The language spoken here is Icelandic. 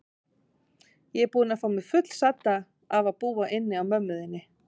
Ég er búin að fá mig fullsadda af að búa inni á mömmu þinni.